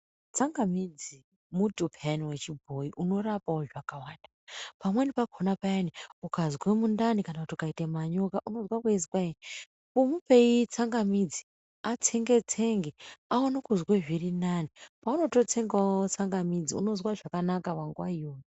Tsangamidzi muti peyani wechibhoyi unorapawo zvakawanda. Pamweni pakhona payani ukazwe mundani kana ukaita manyoka unozwa kweizi kwayi mupeyi tsangamidzi atsenge tsenge aone kuzwa zvirinani paunototsengawo tsangamidzi unozwe zviri nane panguwa iyoyo.